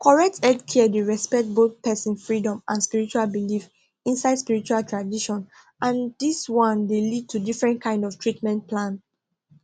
correct healthcare dey respect both person freedom and spiritual belief inside spiritual tradition and this one dey lead to different kind of treatment plan